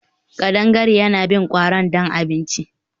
Kadangare yana bin kwarin don abinci